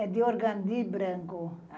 É de organdil branco.